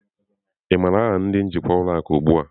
Ị maara aha ndị njikwa ụlọ akụ ugbu a?